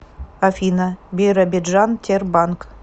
афина биробиджан тербанк